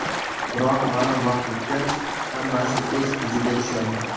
Biroq ma’lum vaqt o‘tgach, hammasi o‘z iziga tushadi.